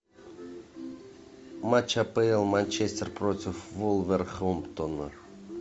матч апл манчестер против вулверхэмптона